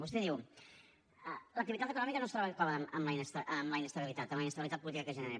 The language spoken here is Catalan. vostè diu l’activitat econòmica no es troba còmoda amb la inestabilitat amb la inestabilitat política que es genera